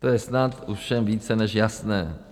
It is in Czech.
To je snad ovšem více než jasné.